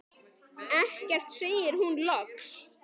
Ekkert, segir hún loks.